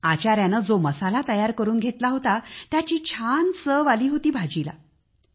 आचाऱ्याने जो मसाला तयार करून घातला होता तो व्यवस्थित लागला होता